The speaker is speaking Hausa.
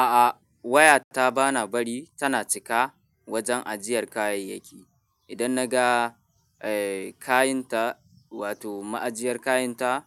A'a wayarta bana bari tana cika wajen ajiyar kayayyaki. Idan naga, eh, kayanta wato ma'ajiyar kayanta